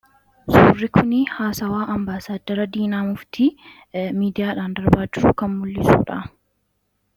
Suurri kun haasawwaa Ambaasaddara Diinaa Muftii miidiyaan darbaa jiru kan mul'isuu dha.